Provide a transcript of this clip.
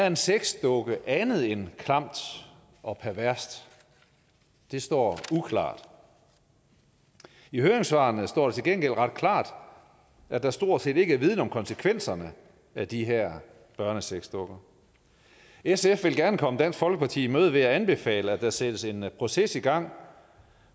en sexdukke andet end klamt og perverst det står uklart i høringssvarene står det til gengæld ret klart at der stort set ikke er viden om konsekvenserne af de her børnesexdukker sf vil gerne komme dansk folkeparti i møde ved at anbefale at der sættes en proces i gang